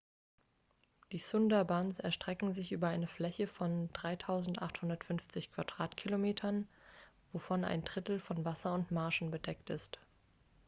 die sundarbans erstrecken sich über eine fläche von 3.850 km² wovon ein drittel von wasser und marschen bedeckt ist